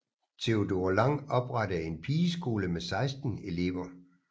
Theodora Lang oprettede en pigeskole med 16 elever